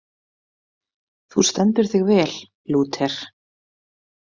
Þú stendur þig vel, Lúter!